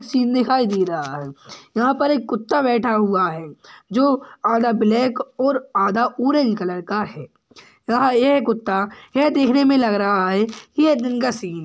Scene दिखाई दे रहा हैं। यहाँ पर एक कुत्ता बैठा हुआ हैं जो आधा ब्लैक और आधा ऑरेंज कलर का हैं यहा ये कुत्ता यह देखने मे लग रहा है कि ये दिन का सीन --